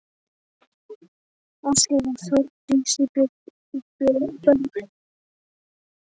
Ásgeir og Þórdísi og börn þeirra.